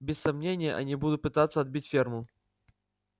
без сомнения они будут пытаться отбить ферму